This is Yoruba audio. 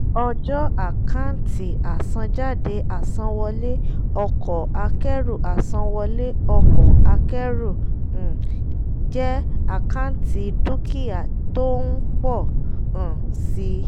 ọjọ́ àkáǹtì àsanjáde àsanwọlé ọkọ̀ akẹ́rù àsanwọlé ọkọ̀ akẹ́rù um jẹ́ àkáǹtì dúkìá tó ń pọ̀ um si.